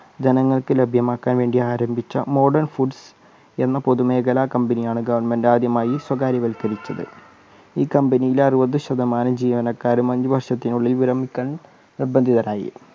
ജനങ്ങൾക്ക് ലഭ്യമാക്കാൻ വേണ്ടി ആരംഭിച്ച modern food എന്ന പൊതുമേഖല company യാണ് government ആദ്യമായി സ്വകാര്യവൽക്കരിച്ചത്. ഈ company യിൽ അറുപത് ശതമാനം ജീവനകാരും അഞ്ച് വർഷത്തിനുള്ളിൽ വിരമിക്കാൻ നിർബന്ധിതരായി.